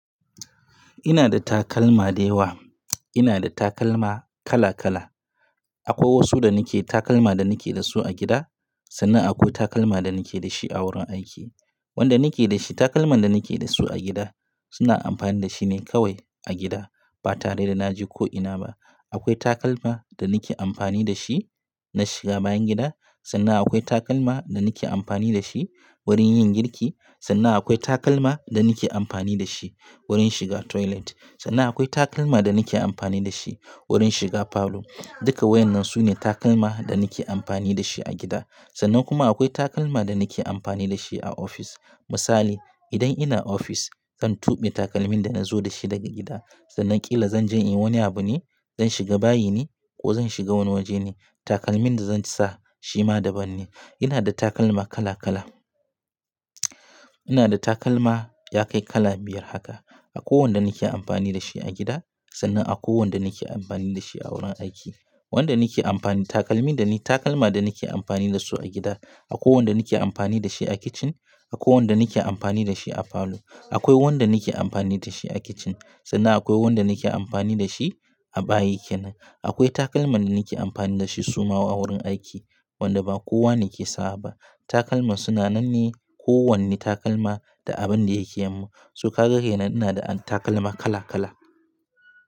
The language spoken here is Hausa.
Ina da takalma dayawa. Ina da takalma kala kala. Akwai wasu da nike takalma da nike da su a gida, sannan akwai takalma da nike da shi a wurin aiki. Wanda nike da shi takalman da nike da su a gida suna amfani da shine kawai a gida ba tare da naje ko ina ba. Akwai takalma da nike amfani da shi na shiga bayan gida, sannan akwai takalma da nike amfani da shi wurin yin girki, sannan akwai takalma da nike amfani da shi wurin shiga toilet, sannan akwai takalma da nike amfani da shi wurin shiga falo. Duka wayannan sune takalma da nike amfani da shi a gida. Sannan kuma akwai takalma da nike amfani da shi a ofis. Misali idan ina ofis kan tube takalmin da nazo da shi daga gida. Sannan ƙila zan je in yi wani abu ne, zan shiga bayi ne ko zan shiga wani waje ne. Takalmin da zan sa shi ma daban ne. Ina da takalma kala kala. Duka wayannan sune takalma da nike amfani da shi a gida. Akwai wanda nike amfani da shi a gida, sannan akwai wanda nike amfani da shi a wurin aiki. Wanda nike amfani takalmi dani takalma da nike amfani da su a gida. Akwai wanda nike amfani da shi a kitchen, akwai wanda nike amfani da shi a falo. Akwai wanda nike amfani da shi a kitchen sannan akwai wanda nike amfani da shi a bayi kenan. Akwai takalma da nike amfani da shi suma a wurin aiki wanda ba kowa ne yake sawa ba. Takalma suna nan ne kowanne takalma da abin da yake yin mu. Su ka ga haina ina da takalma kala kala.